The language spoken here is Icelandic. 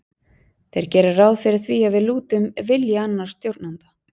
Þeir gera ráð fyrir því að við lútum vilja annars stjórnanda.